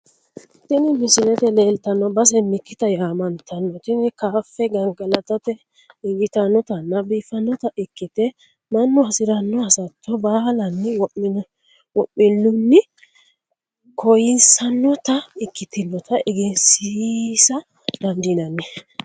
Tini misilete leelitano basse mikitta yaama'ntano, tini kaafe gangalatate injitinotanna biifinotta ikkite manu hasirano hasatto baala'nni wo'milunni koyisanotta ikkitinota egensiisa dandinanni